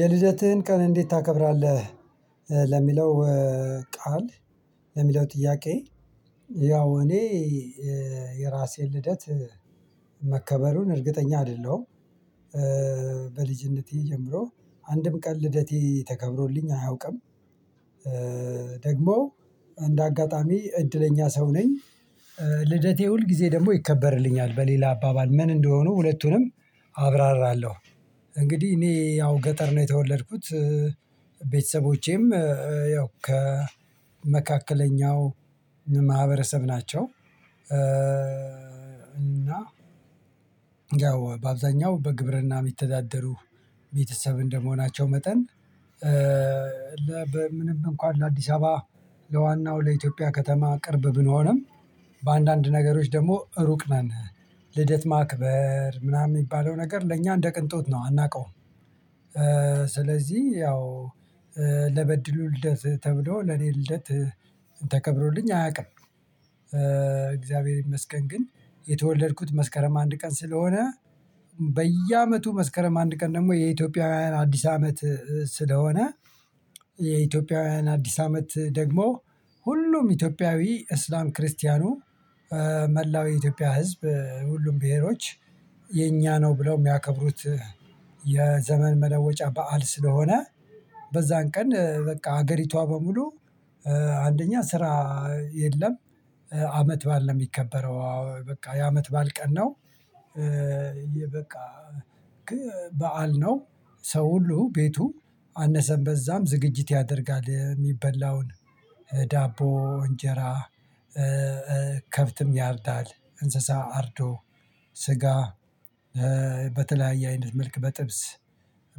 የልደትህን ቀን እንዴት ታከብራለህ? ለሚለው ቃል ለሚለው ጥያቄ። ያው እኔ የራሴን ልደት መከበሩን እርግጠኛ አይደለሁም። በልጅነቴ ጀምሮ አንድም ቀን ልደቴ ተከብሮልኝ አያውቅም። ደግሞ እንደ አጋጣሚ እድለኛ ሰው ነኝ። ልደቴ ሁል ጊዜ ደግሞ ይከበርልኛል በሌላ አባባል ምን እንደሆኑ ሁለቱንም አብራራለሁ። እንግዲህ እኔ ያው ገጠር ነው የተወለድኩት። ቤተሰቦቼም ያው ከመካከለኛው ማህበረሰብ ናቸው። እና ያው በአብዛኛው በግብርና የሚተዳደሩ ቤተሰብ እንደመሆናቸው መጠን። ለ በምንም እንኳን ለአዲስ አበባ ለዋናው ለኢትዮጵያ ከተማ ቅርብ ብንሆንም በአንዳንድ ነገሮች ደግሞ ሩቅ ነን። ልደት ማክበር ምናምን የሚባለው ነገር ለእኛ እንደ ቅንጦት ነው አናውቀውም። ስለዚህ ያው ለበድሉ ልደት ተብሎ ለኔ ልደት ተከብሮልኝ አያውቅም። እግዚአብሔር ይመስገን ግን የተወለድኩት መስከረም አንድ ቀን ስለሆነ በየአመቱ መስከረም አንድ ቀን ደግሞ የኢትዮጵያውያን አዲስ አመት ስለሆነ። የኢትዮጵያውያን አዲስ አመት ደግሞ ሁሉም ኢትዮጵያዊ እስልምና ክርስቲያኑ መላው የኢትዮጵያ ህዝብ ሁሉም ብሄሮች የኛ ነው ብለው የሚያከብሩት የዘመን መለወጫ በዓል ስለሆነ። በዛን ቀን በቃ ሀገሪቷ በሙሉ አንደኛ ስራ የለም አመትባል ነው የሚከበረው በቃ የአመት ባል ቀን ነው። በቃ በዓል ነው። ሰው ሁሉ ቤቱ አነሰም በዛም ዝግጅት ያደርጋል የሚበላውን ዳቦ እንጀራ። ከብትም ያርዳል እንስሳ አርዶ ስጋ በተለያየ አይነት መልክ በጥብስ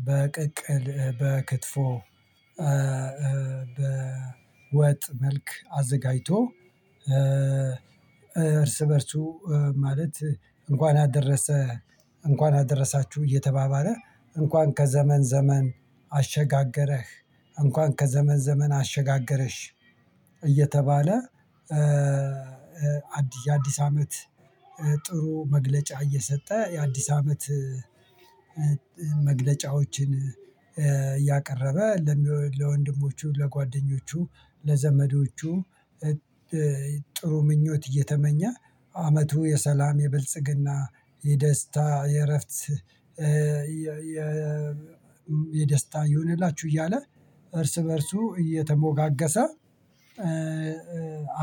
በቅቅል በክትፎ። በወጥ መልክ አዘጋጅቶ እርስ በእርሱ ማለት እንኳን አደረሰ። እንኳን አደረሳችሁ እየተባባለ እንኳን ከዘመን ዘመን አሸጋገረህ እንኳን ከዘመን ዘመን አሸጋገረሽ እየተባለ። አዲስ አመት ጥሩ መግለጫ እየሰጠ የአዲስ አመት። መግለጫዎችን እያቀረበ ለወንድሞቹ ለጓደኞቹ ለዘመዶቹ ጥሩ ምኞት እየተመኘ አመቱ የሰላም የብልጽግና የደስታ የእረፍት የደስታ ይሁንላችሁ እያለ እርስ በእርሱ እየተሞጋገሰ።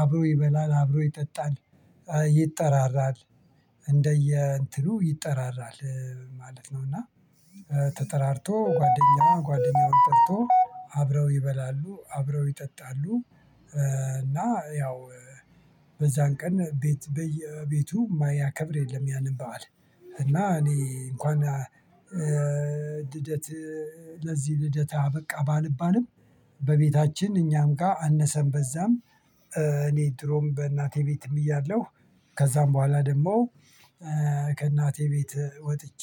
አብሮ ይበላል አብሮ ይጠጣል ይጠራራል እንደዬ እንትኑ ይጠራራል ማለት ነው። እና ተጠራርቶ ጓደኛ ጓደኛውን ጠርቶ አብረው ይበላሉ አብረው ይጠጣሉ። እና ያው በዛን ቀን ቤት በቤቱ የማያከብር የለም ያንን በዓል። እና እኔ እንኳን ልደት ለዚህ ልደት አበቃ ባልባልም በቤታችን እኛም ጋር አነሰን በዛም እኔ ድሮም በእናቴ ቤትም እያለሁ ከዛም በኋላ ደግሞ ከእናቴ ቤት ወጥቼ።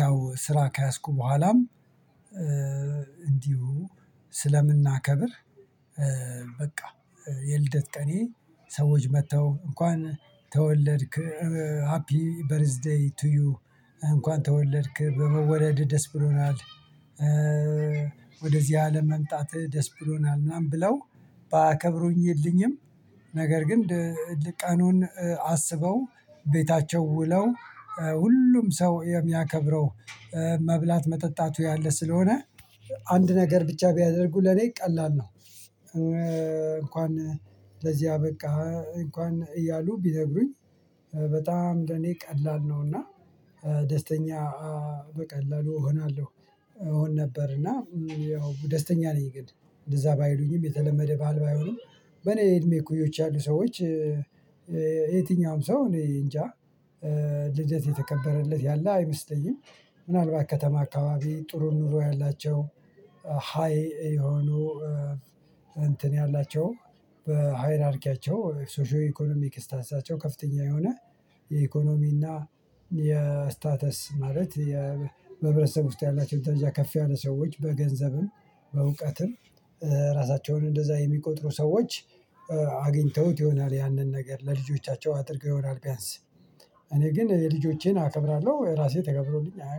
ያው ስራ ከያዝኩ በኋላም እንዲሁ ስለምናከብር በቃ የልደት ቀኔ ሰዎች መጥተው እንኳን ተወለድክ ሃፒ በርዝዴይ ቱ ዩ እንኳን ተወለድክ በመወለድ ደስ ብሎናል። ወደዚህ አለም መምጣት ደስ ብሎናል ምናምን ብለው ባያከብሩልኝም ነገር ግን ቀኑን አስበው ቤታቸው ውለው ሁሉም ሰው የሚያከብረው መብላት መጠጣቱ ያለ ስለሆነ አንድ ነገር ብቻ ቢያደርጉ ለኔ ቀላል ነው። እንኳን ለዚህ አበቃ እንኳን እያሉ ቢነግሩኝ በጣም ለኔ ቀላል ነውና እና ደስተኛ በቀላሉ እሆናለሁ። እሆን ነበር እና ያው ደስተኛ ነኝ። ግን እንደዛ ባይሉኝም የተለመደ ባል ባይሆኑም በኔ እድሜ እኩዮች ያሉ ሰዎች የትኛውም ሰው እኔ እንጃ ልደት የተከበረለት ያለ አይመስለኝም። ምናልባት ከተማ አካባቢ ጥሩ ኑሮ ያላቸው ሃይ የሆኑ እንትን ያላቸው በሃይራርኪያቸው ሶሺዮ ኢኮኖሚክ ስታተሳቸውን ከፍተኛ የሆነ የኢኮኖሚና የስታተስ ማለት የህብረተሰብ ውስጥ ያላቸውን ደረጃ ከፍ ያለ ሰዎች በገንዘብም በእውቀትም ራሳቸውን እንደዛ የሚቆጥሩ ሰዎች አግኝተውት ይሆናል ያንን ነገር ለልጆቻቸው አድርገው ይሆናል። ቢያንስ እኔ ግን ልጆቼን አከብራለሁ ራሴ ተከብሮልኝ አያቅም